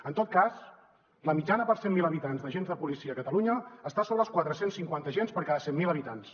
en tot cas la mitjana per cent mil habitants d’agents de policia a catalunya està sobre els quatre cents i cinquanta agents per cada cent mil habitants